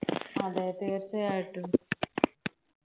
അതെ തീർച്ചയായിട്ടും